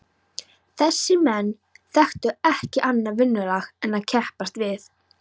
Þessir menn þekktu ekki annað vinnulag en að keppast við.